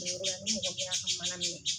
Minɛ yɔrɔ la ni mɔgɔ min y'a ka mana minɛ,